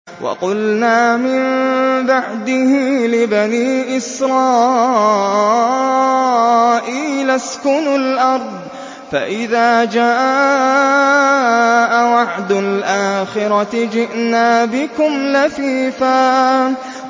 وَقُلْنَا مِن بَعْدِهِ لِبَنِي إِسْرَائِيلَ اسْكُنُوا الْأَرْضَ فَإِذَا جَاءَ وَعْدُ الْآخِرَةِ جِئْنَا بِكُمْ لَفِيفًا